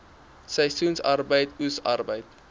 seisoensarbeid oes arbeid